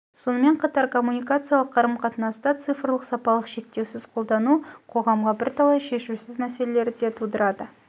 сонымен қатар коммуникациялық қарым-қатынаста цифрлық сапалық шектеусіз қолдану қоғамға бірталай шешусіз мәселелерді де тудырды